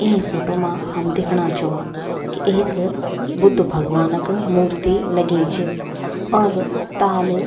इ फोटु मा हम दिखणा छौ कि एक बुद्ध भगवानक मूर्ति लगी च और ताल --